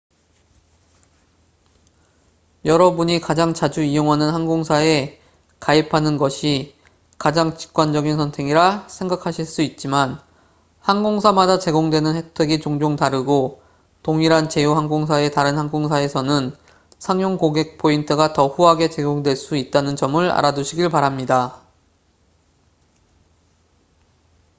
여러분이 가장 자주 이용하는 항공사에 가입하는 것이 가장 직관적인 선택이라 생각하실 수 있지만 항공사마다 제공되는 혜택이 종종 다르고 동일한 제휴 항공사의 다른 항공사에서는 상용 고객 포인트가 더 후하게 제공될 수 있다는 점을 알아두시길 바랍니다